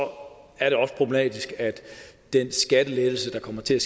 er det også problematisk at den skattelettelse der kommer til